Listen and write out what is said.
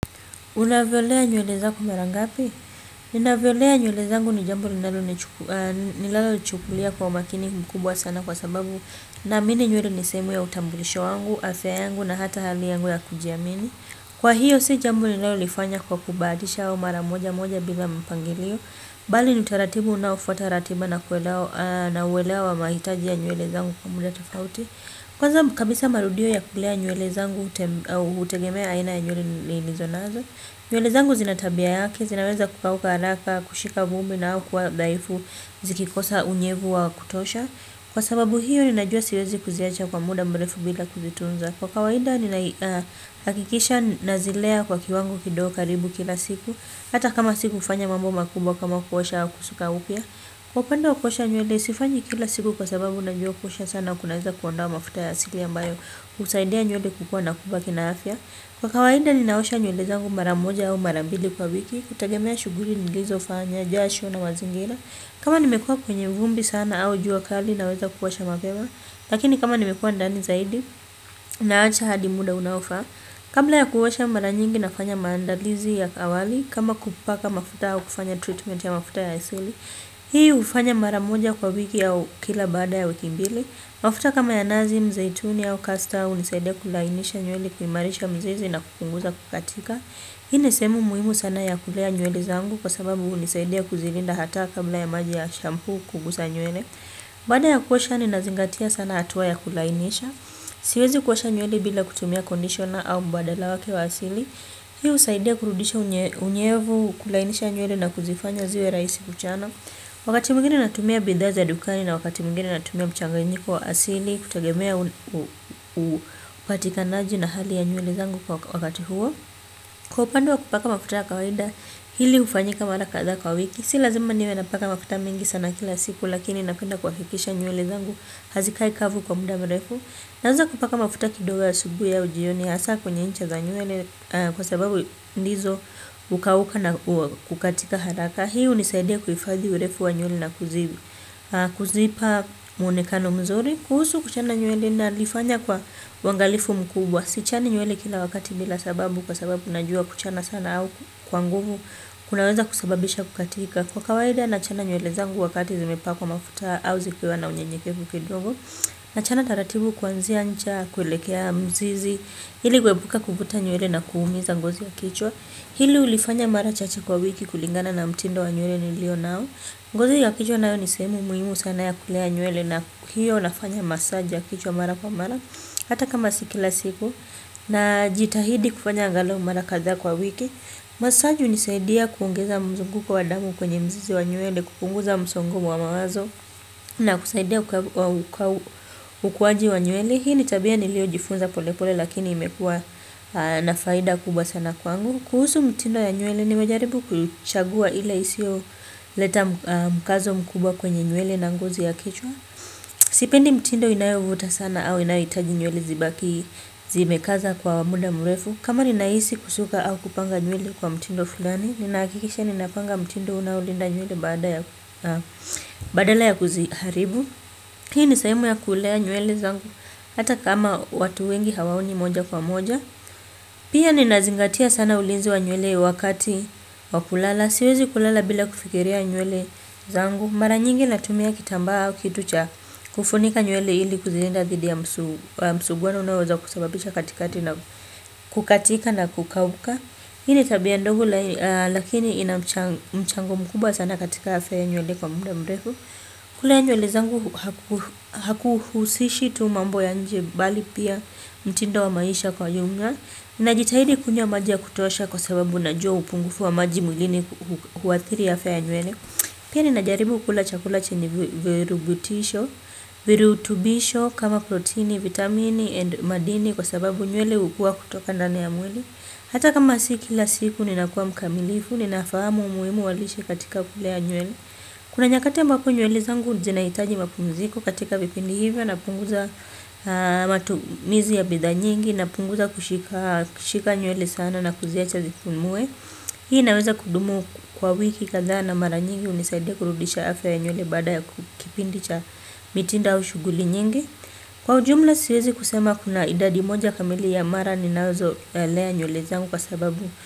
Una vyolea nyewele zako mara ngapi? Ninavyolea nyewele zaangu ni jambo linalo nichukulia kwa umakini mkubwa sana kwa sababu naamini nyewele ni sehemu ya utambulisho wangu, afya yangu na hata hali yangu ya kujiamini. Kwa hiyo si jambo linalolifanya kwa kubahatisha au mara moja moja bila mpangilio. Bali ni utaratibu unaofata ratiba na uelewa wa mahitaji ya nyewele zangu kwa muda tofauti. Kwanza kabisa marudio ya kulea nyewele zangu hutegemea aina ya nywele nilizonazo. Nywele zangu zina tabia yake, zinaweza kukauka haraka, kushika vumbi na au kuwa dhaifu, zikikosa unyevu wa kutosha. Kwa sababu hiyo, ninajua siwezi kuziacha kwa muda mrefu bila kuzitunza. Kwa kawaida, ninahakikisha nazilea kwa kiwango kidogo karibu kila siku. Hata kama si kufanya mambo makubwa kama kuosha au kusuka upya. Kwa upande wa kuosha nywele, sifanyi kila siku kwa sababu najua kuosha sana kunaweza kuondoa mafuta ya asili ambayo. Husaidia nywele kukua na kubaki na afya. Kwa kawaida ninaosha nywele zangu mara moja au mara mbili kwa wiki, kutegemea shughuli nilizofanya, jasho na mazingira. Kama nimekuwa kwenye vumbi sana au jua kali naweza kuosha mapema lakini kama nimekuwa ndani zaidi naacha hadi muda unaofaa. Kabla ya kuosha mara nyingi nafanya maandalizi ya awali, kama kupaka mafuta au kufanya treatment ya mafuta ya asili. Hii hufanya mara moja kwa wiki au kila baada ya wiki mbili. Mafuta kama ya nazi mzaituni au kasta hunisaidia kulainisha nywele kumarisha mzizi na kupunguza kukatika hii ni sehemu muhimu sana ya kulea nywele zangu kwa sababu hunisaidia kuzilinda hata kabla ya maji ya shampoo kugusa nywele baada ya kuosha ninazingatia sana hatua ya kulainisha siwezi kuosha nywele bila kutumia conditioner au mbadala wake wa asili hii husaidia kurudisha unyevu kulainisha nywele na kuzifanya ziwe rahisi kuchana. Wakati mwingine natumia bidhaa za dukani na wakati mwingine natumia mchanganyiko wa asili kutegemea upatikanaji na hali ya nywele zangu kwa wakati huo. Kwa upande wa kupaka mafuta ya kawaida hili hufanyika mara kadhaa kwa wiki. Si lazima niwe napaka mafuta mingi sana kila siku lakini napenda kuhakikisha nywele zangu hazikai kavu kwa muda mrefu. Naweza kupaka mafuta kidogo asubuhi au jioni hasa kwenye ncha za nywele kwa sababu ndizo hukauka na kukatika haraka. Hii hunisaidia kuhifadhi urefu wa nywele na kuziwi. Kuzipa muonekano mzuri. Kuhusu kuchana nywele nalifanya kwa uangalifu mkubwa. Sichani nywele kila wakati bila sababu. Kwa sababu najua kuchana sana au kwa nguvu. Kunaweza kusababisha kukatika. Kwa kawaida nachana nywele zangu wakati zimepa kwa mafuta. Au zikiwa na unyenyekevu kidogo. Nachana taratibu kuanzia ncha, kuelekea mzizi. Ili kuepuka kuvuta nywele na kuumiza ngozi ya kichwa. Hili hulifanya mara chache kwa wiki kulingana na mtindo wa nywele nilio nao ngozi ya kichwa nayo ni sehemu muhimu sana ya kulea nywele na hiyo unafanya massage ya kichwa mara kwa mara. Hata kama sii kila siku na jitahidi kufanya angalau mara kadhaa kwa wiki. Massage hunisaidia kuongeza mzunguko wa damu kwenye mzizi wa nywele. Kupunguza msongo wa mawazo na kusaidia ukuwaji wa nywele. Hii ni tabia nilio jifunza polepole lakini imekua na faida kubwa sana kwangu. Kuhusu mtindo ya nywele nimejaribu kuchagua ile isio leta mkazo mkubwa kwenye nywele na ngozi ya kichwa. Sipendi mtindo inayovuta sana au inayo hitaji nywele zibaki zime kaza kwa muda mrefu. Kama ninahisi kusuka au kupanga nywele kwa mtindo fulani ninahakikisha ni napanga mtindo unaolinda nywele badala ya kuziharibu hii ni sehemu ya kulea nywele zangu hata kama watu wengi hawaoni moja kwa moja. Pia ninazingatia sana ulinzi wa nywele wakati wa kulala. Siwezi kulala bila kufikiria nyuele zangu. Mara nyingi natumia kitambaa au kitu cha kufunika nywele ili kuzilinda dhidi ya msuguano unaoweza kusababisha katikati na kukatika na kukauka. Hii ni tabia ndogo lakini ina mchango mkubwa sana katika afya nywele kwa muda mrefu. Kulea nywele zangu hakuhusishi tu mambo ya nje bali pia mtindo wa maisha kwa jumla. Najitahidi kunywa maji kutosha kwa sababu najua upungufu wa maji mwilini huathiri afya ya nywele pia nina jaribu kula chakula chenye virutubisho kama protini vitamini and madini kwa sababu nywele hukua kutoka ndani ya mwili. Hata kama si kila siku ninakuwa mkamilifu ninafahamu umuhimu wa lishe katika kulea nywele. Kuna nyakati ambapo nywele zangu zinahitaji mapumziko katika vipindi hivyo napunguza matumizi ya bidhaa nyingi napunguza kushika nywele sana na kuziacha zipumue. Hii inaweza kudumu kwa wiki kadhaa na mara nyingi hunisaidia kurudisha afya ya nywele baada ya kipindi cha mitindo au shughuli nyingi. Kwa ujumla siwezi kusema kuna idadi moja kamili ya mara ninazo lea nywele zangu kwa sababu.